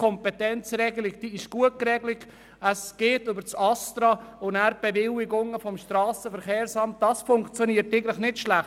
Die Kompetenzregelung – vom ASTRA zum SVSA – ist gut und funktioniert eigentlich nicht schlecht.